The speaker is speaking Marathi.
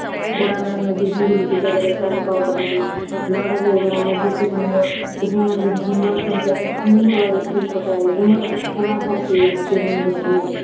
औंधा नागनाथ जे हिंगोली जिल्हयामध्ये आहे तालुका औंधामध्ये, औंधा नागनाथ जोतिर्लिंग हे मंदिर हेमाडपंथी असून सुंदर शिल्प आहे. हेमाडपंथी~ हेमाडपंथी आहे ते मंदिर